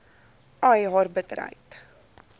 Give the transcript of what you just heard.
ai haar bitterheid